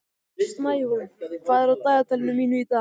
Snæhólm, hvað er á dagatalinu mínu í dag?